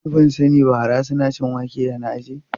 Ni ban sani ba, hara suna cin wake da na ajiye.